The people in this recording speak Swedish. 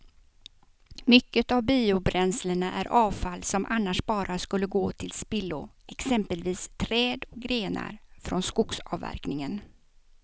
Mycket av biobränslena är avfall som annars bara skulle gå till spillo, exempelvis träd och grenar från skogsavverkningen.